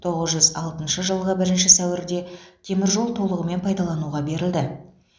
тоғыз жүз алтыншы жылғы бірінші сәуірде теміржол толығымен пайдалануға берілді